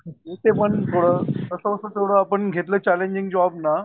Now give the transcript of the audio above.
इथेपण पुढं कस बस आपण घेतले चॅलेंजिंग जॉब ना